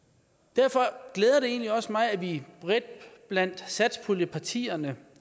derfor glæder det egentlig også mig at vi bredt blandt satspuljepartierne